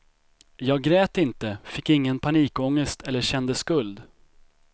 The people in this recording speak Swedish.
Jag grät inte, fick ingen panikångest eller kände skuld.